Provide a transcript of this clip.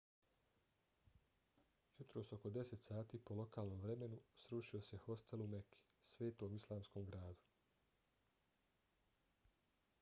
jutros oko 10 sati po lokalnom vremenu srušio se hostel u meki svetom islamskom gradu